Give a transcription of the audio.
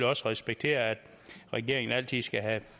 også respektere at regeringen altid skal have